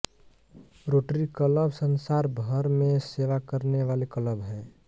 rotary club संसार भर में सेवा करने वाले क्लब हैं